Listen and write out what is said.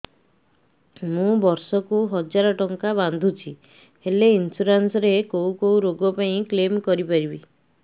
ମୁଁ ବର୍ଷ କୁ ହଜାର ଟଙ୍କା ବାନ୍ଧୁଛି ହେଲ୍ଥ ଇନ୍ସୁରାନ୍ସ ରେ କୋଉ କୋଉ ରୋଗ ପାଇଁ କ୍ଳେମ କରିପାରିବି